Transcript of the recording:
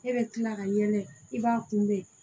E bɛ tila ka ɲɛ dɛ i b'a kunbɛ